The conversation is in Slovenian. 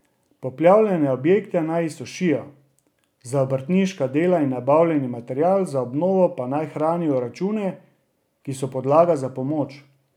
Poplavljene objekte naj izsušijo, za obrtniška dela in nabavljeni material za obnovo pa naj hranijo račune, ki so podlaga za pomoč.